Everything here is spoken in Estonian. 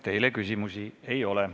Teile küsimusi ei ole.